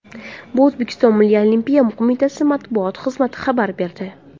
Bu O‘zbekiston Milliy Olimpiya qo‘mitasi matbuot xizmati xabar berdi .